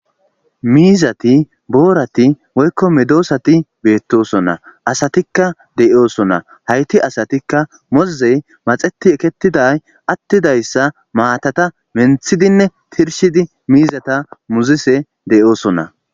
Mizati borati woyiko medossati betossona asatika deyosona hayis asatika moze maxeti eketida atida matata menithidine tirishidi mizata muzishe dosona.